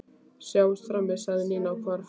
Sjáumst frammi sagði Nína og hvarf.